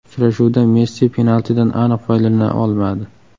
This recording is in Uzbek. Uchrashuvda Messi penaltidan aniq foydalana olmadi.